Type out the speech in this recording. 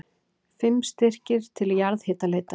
Fimm styrkir til jarðhitaleitar